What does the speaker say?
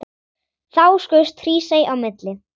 Þá skaust Hrísey á milli.